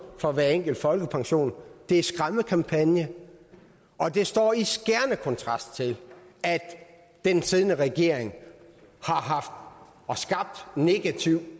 fra hver enkelt folkepension er en skræmmekampagne og det står i skærende kontrast til at den siddende regering har skabt negativ